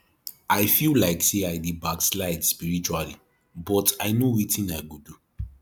i feel like say i dey backslide spiritually but i no wetin i go do